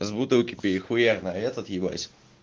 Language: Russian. с бутылку перехуяк на этот ебать